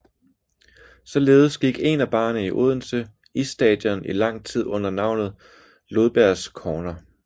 Således gik én af barerne i Odense Isstadion i lang tid under navnet Lodbergs Corner